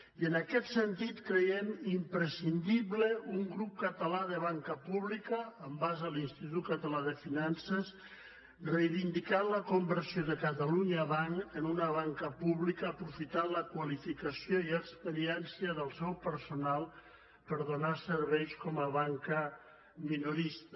i en aquest sentit creiem imprescindible un grup català de banca pública en base a l’institut català de finances reivindicant la conversió de catalunya banc en una banca pública aprofitant la qualificació i experiència del seu personal per donar serveis com a banca minorista